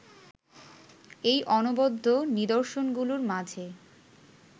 এই অনবদ্য নিদর্শনগুলোর মাঝে